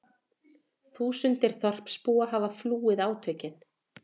Þúsundir þorpsbúa hafa flúið átökin